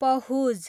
Pahuj